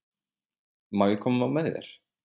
Má ég koma með þér?